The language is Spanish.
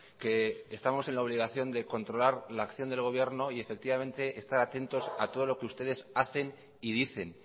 que estamos en la obligación de controlar la acción del gobierno y efectivamente estar atentos a todos lo que ustedes hacen y dicen